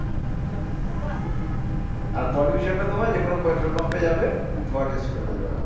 আর pollution টা তোমার যে কোনো petrol pump এ যাবে ধোঁয়া test করে দেবে ওরা